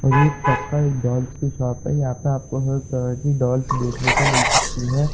और ये एक पक्का एक डॉल्स की शॉप है | यहाँ पे आपको हर तरह की डॉल्स देखने को मिल सकती है।